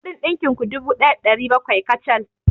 Kuɗin ɗinkin ku dubu ɗaya da ɗari bakwai kacal.